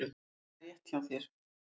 Það er rétt hjá þér.